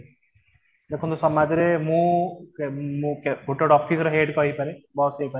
ଦେଖନ୍ତୁ ସମାଜ ରେ ମୁଁ ଗୋଟେ officer head ପାଇପାରେ boss ହେଇପାରେ